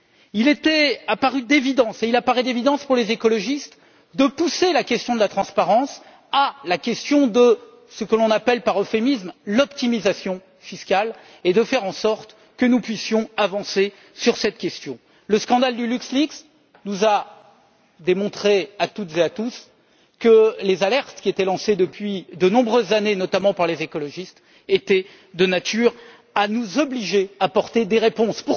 Il apparaît évident pour les écologistes de pousser la question de la transparence à la question de ce que l'on appelle, par euphémisme, l'optimisation fiscale et de faire en sorte que nous puissions avancer sur cette question. Le scandale de LuxLeaks nous a démontré, à toutes et à tous, que les alertes qui étaient lancées depuis de nombreuses années, notamment par les écologistes, étaient de nature à nous obliger à apporter des réponses.